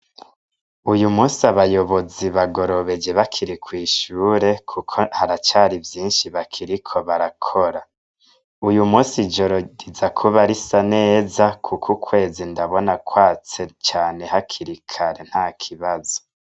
Uyu musi abayobozi bagorobeje bakiri kw'ishure kuko haracari vyinshi bakiriko barakora. Uyu musi ijoro riza kuba risa neza kuko ukwezi ndabona kwatse cane hakiri kare, ntakibazo.